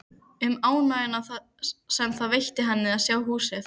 Um ánægjuna sem það veitti henni að sjá húsið.